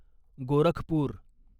Gorakhpur